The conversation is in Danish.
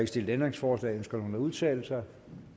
stillet ændringsforslag ønsker nogen at udtale sig